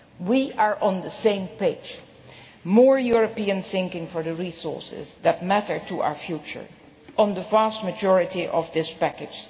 We are on the same page more European thinking for the resources that matter to our future on the vast majority of this package.